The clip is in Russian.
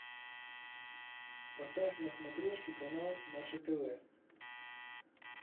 поставь на смотрешке канал наше тв